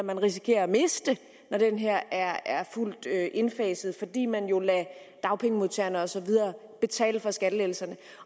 risikerer at miste når den her reform er fuldt indfaset fordi man jo lader dagpengemodtagere og så videre betale for skattelettelserne